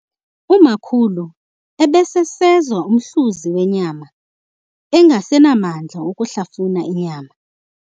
Umakhulu ebesesezwa umhluzi wenyama engasenamandla okuhlafuna inyama.